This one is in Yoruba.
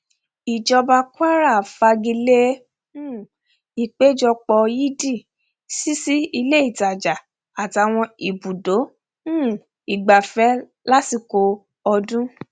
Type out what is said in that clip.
ìjọba kwara fagi lé um ìpéjọpọ yídì ṣíṣí ilé ìtajà àtàwọn ibùdó um ìgbafẹ lásìkò ọdún